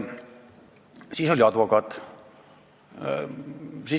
Siis kõneles advokaat.